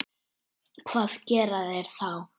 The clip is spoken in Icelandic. Hvað gera þeir þá?